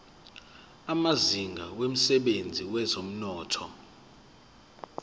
amazinga emsebenzini wezomnotho